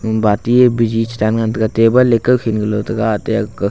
mombati biji chedan ngan taiga table e kawkhin galo taiga ate aku.